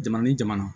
Jamana ni jamana